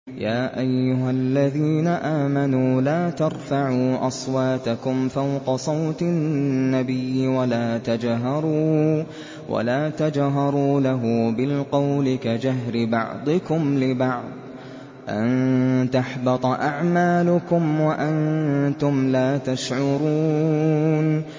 يَا أَيُّهَا الَّذِينَ آمَنُوا لَا تَرْفَعُوا أَصْوَاتَكُمْ فَوْقَ صَوْتِ النَّبِيِّ وَلَا تَجْهَرُوا لَهُ بِالْقَوْلِ كَجَهْرِ بَعْضِكُمْ لِبَعْضٍ أَن تَحْبَطَ أَعْمَالُكُمْ وَأَنتُمْ لَا تَشْعُرُونَ